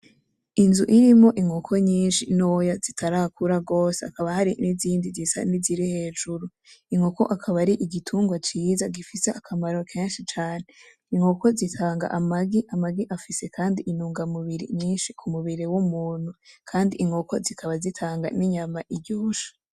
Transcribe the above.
Inzu irimwo inkoko nyinshi ntoya zitarakura gose hakaba hari n'izindi zisa niziri hejuru, inkoko akaba arigitungwa ciza gifise akamaro kenshi cane. inkoko zitanga amagi afise intungamubiri nyinshi kumubiri w'umuntu kandi inkoko zikaba zitanga inyama iryoshe.